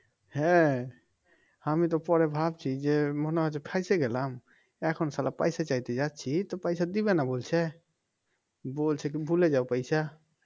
হ্যাঁ আমি তো পরে ভাবছি যে মনে হয় যে ফাইসে গেলাম এখন সালা পয়সা চাইতে যাচ্ছি তো পয়সা দিবেনা বলছে বলছে তুমি ভুলে যাও পয়সা